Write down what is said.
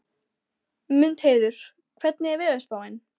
Mundheiður, hvernig er veðurspáin?